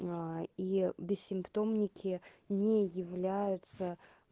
и бессимптомники не являются